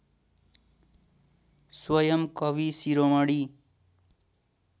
स्वयम् कविशिरोमणि